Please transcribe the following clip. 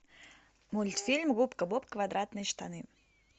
мультфильм губка боб квадратные штаны